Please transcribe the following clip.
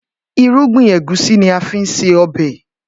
Irúgbìn Ẹ̀gúsí ni a fi ń se ọbẹ̀